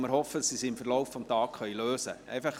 Wir hoffen, dass sie es im Verlauf des Tages lösen können.